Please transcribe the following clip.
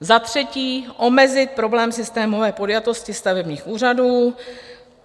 Za třetí omezit problém systémové podjatosti stavebních úřadů.